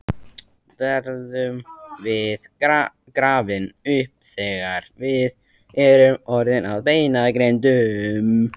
Verðum við grafin upp þegar við erum orðin að beinagrindum?